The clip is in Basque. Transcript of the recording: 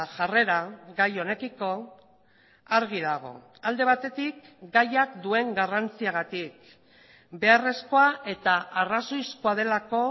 jarrera gai honekiko argi dago alde batetik gaiak duen garrantziagatik beharrezkoa eta arrazoizkoa delako